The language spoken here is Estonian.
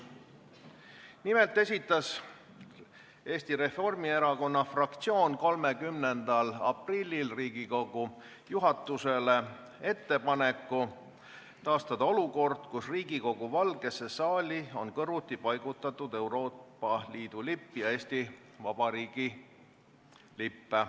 Nimelt esitas Eesti Reformierakonna fraktsioon 30. aprillil Riigikogu juhatusele ettepaneku taastada olukord, kus Riigikogu Valgesse saali on kõrvuti paigutatud Euroopa Liidu lipp ja Eesti Vabariigi lipp.